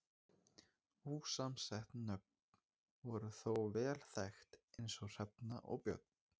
ósamsett nöfn voru þó vel þekkt eins og hrefna og björn